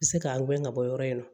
U bɛ se k'an gɛn ka bɔ yɔrɔ in na